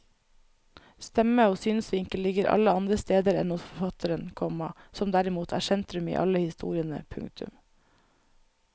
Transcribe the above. Stemme og synsvinkel ligger alle andre steder enn hos forfatteren, komma som derimot er sentrum i alle historiene. punktum